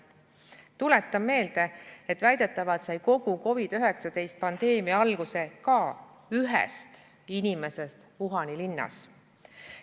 Tuletan meelde, et väidetavalt sai kogu COVID-19 pandeemia alguse ka ühest inimesest Wuhani linnas.